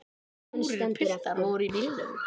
Fjórir piltar voru í bílnum.